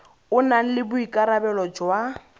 o nang le boikarabelo jwa